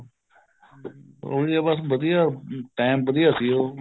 ਉਹੀ ਹੈ ਬੱਸ ਵਧੀਆ time ਵਧੀਆ ਸੀ ਉਹ